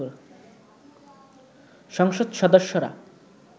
সংসদ সদস্যরা